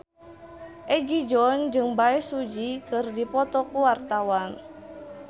Egi John jeung Bae Su Ji keur dipoto ku wartawan